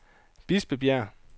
Bispebjerg